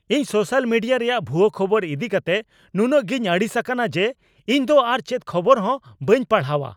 ᱤᱧ social media ᱨᱮᱭᱟᱜ ᱵᱷᱩᱣᱟᱹ ᱠᱷᱚᱵᱚᱨ ᱤᱫᱤ ᱠᱟᱛᱮ ᱱᱩᱱᱟᱹᱜ ᱜᱤᱧ ᱟᱹᱲᱤᱥ ᱟᱠᱟᱱᱟ ᱡᱮ ᱤᱧᱫᱚ ᱟᱨ ᱪᱮᱫ ᱠᱷᱚᱵᱚᱨᱦᱚᱸ ᱵᱟᱹᱧ ᱯᱟᱲᱦᱟᱣᱟ ᱾